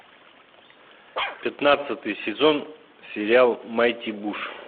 пятнадцатый сезон сериал майти буш